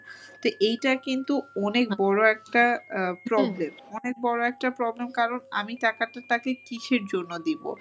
তো এইটা কিন্তু অনেক বড় একটা problem অনেক বড় একটা problem কারণ আমি টাকাটা তাকে কীসের জন্য দিব।